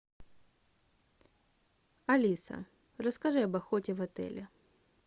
алиса расскажи об охоте в отеле